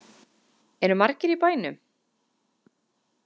Eru margir í bænum?